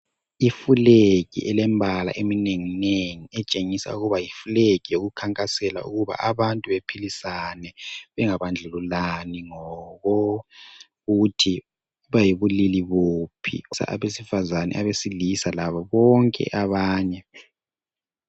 Ifulegi elemibala eminenginengi etshengisa ukuba yifulegi ekhankasela ukuthi abantu bephilisane, bangabandlululani ngokuthi bayibulili buphi kusabesifazane, abesilisa labobonke abanye.